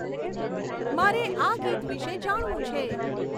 મારે આ ગીત વિષે જાણવું છે